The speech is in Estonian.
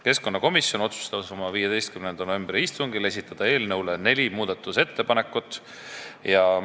Keskkonnakomisjon otsustas oma 15. novembri istungil esitada eelnõu kohta neli muudatusettepanekut.